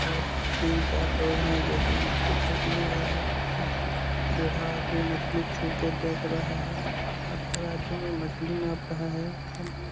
और तीन चार लोग है जो की मछली खरीदने आया है एक बूढ़ा आदमी मछली छू के देख रहा है और तराजू में मछली नाप रहा है एक आदमी --